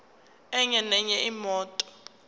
enye nenye imoto